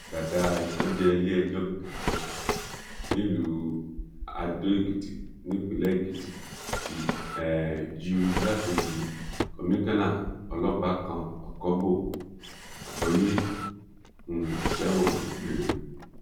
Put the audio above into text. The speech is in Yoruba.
dàdà àìkánjẹ iléẹjọ gíga kan nílùú adó èkìtì nípínlẹ̀ èkìtì ti um ju igbákejì kọmíkànnà ọlọ́pàá kan ọkọbò abọyé um sẹ́wọ̀n gbére